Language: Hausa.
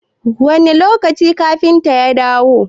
Wane lokaci kafintan ya dawo?